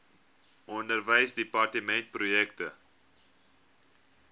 onderwysdepartementprojekte